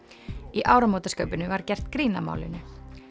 í áramótaskaupinu var gert grín að málinu